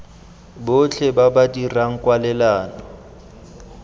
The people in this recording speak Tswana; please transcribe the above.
botlhe ba ba dirang kwalelano